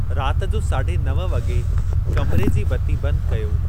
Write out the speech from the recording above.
रात जो साढे नव वगे॒ कमिरे जी बती बंदि कयो।